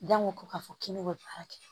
ko k'a fɔ k'i ne bɛ baara kɛ